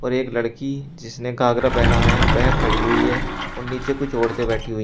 और एक लड़की जिसने घाघरा पहना है वह खड़ी हुई है और नीचे कुछ औरतें बैठी हुई।